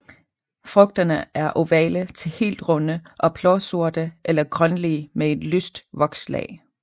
Frugterne er ovale til helt runde og blåsorte eller grønlige med et lyst vokslag